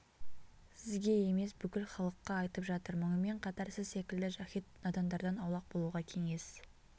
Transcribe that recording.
сізге емес бүкіл халыққа айтып жатыр мұнымен қатар сіз секілді жаһид надандардан аулақ болуға кеңес